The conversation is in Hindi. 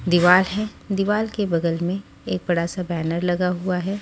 दीवार है दीवार के बगल में एक बड़ा सा बैनर लगा हुआ है।